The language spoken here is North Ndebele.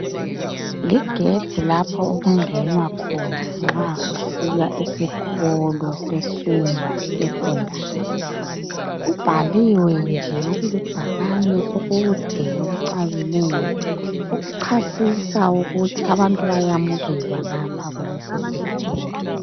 ligedi lapho okungenwa khona nxa usiya esikolo se Sumba Secondary kubhaliwe nje okulibhakane okude okucakileyo okuchasisa ukuthi abantu bayamukelwa lapha kulesi isikolo